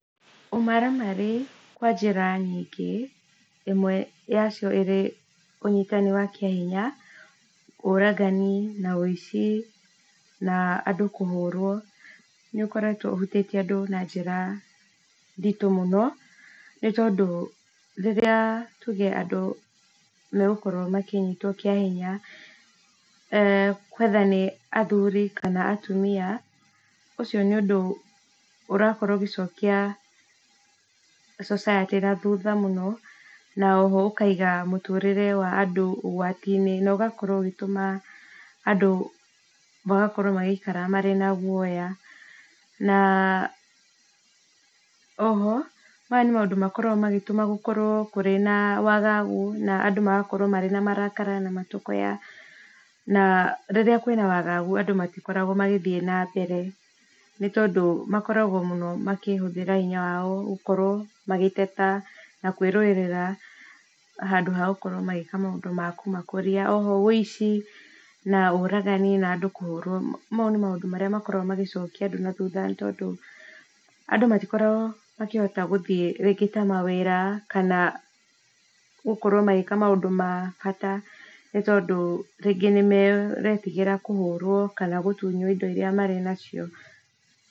Ũmaramari kwa njĩra nyingĩ, imwe ya cio ĩrĩ ũnyitani wa kĩa hinya, ũragani na wũici, na andũ kũhũrwo, nĩ ũkoretwo ũhutĩtie andũ na njĩra nditũ mũno, no tondũ rĩrĩa tuge andũ megũkorwo makĩnyitwo kĩa hinya, whether nĩ athuri kana atumia, ũcio nĩ ũndũ ũrakorwo ũgĩcokia society na thutha mũno, na oho ũkaiga mũtũrĩre wa andũ ũgwati-inĩ, na ũgakorwo ũgĩtũma andũ magakorwo magĩikara mena guoya, na oho maya nĩ maũndũ makoragwo magĩtũma gũkorwo kũrĩ na wagagu na andũ magakorwo marĩ na marakara na matũkũya , na rĩrĩa kwĩna wagagu andũ matikoragwo magĩthiĩ na mbere , no tondũ makoragwo mũno, makĩhũthĩra hinya wao gũkorwo magĩteta, na kwĩrũĩrĩra, handũ ha makorwo magĩĩka maũndũ makũmakũria , oho wũici na ũragani, na andũ kũhũrwo mau nĩ maũndũ marĩa makoragwo magĩcokia andũ na thutha nĩ tondũ, andũ matikoragwo makĩhota gũthi rĩngĩ ta mawĩra, kana gũkorwo magĩka maũndũ ma bata, nĩ tondũ rĩngĩ nĩ maretigĩra kũhũrwo kana gũtunywo indo iria marĩ nacio.